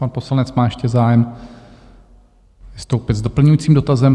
Pan poslanec má ještě zájem vystoupit s doplňujícím dotazem.